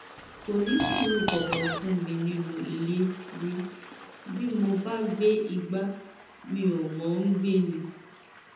kò ní sùúrù kankan fún mi nínú ilé rí bí mo bá gbé igbá mi ò mọ ọn gbé ni